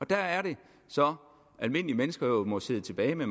der er det så at almindelige mennesker må sidde tilbage med